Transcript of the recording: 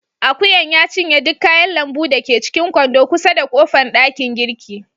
Ajuyan ya cinye duk kayan lambu da ke cikin kwando kusa da kofan dakin girki.